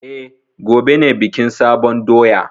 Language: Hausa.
E, gobe ne bikin sabon doya.